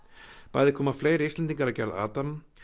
bæði koma fleiri Íslendingar að gerð Adam